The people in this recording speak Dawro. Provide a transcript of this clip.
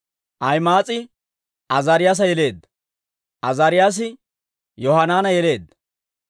Ahima'aas'i Azaariyaasa yeleedda; Azaariyaasi Yohanaana yeleedda;